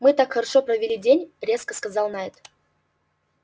мы так хорошо провели день резко сказал найд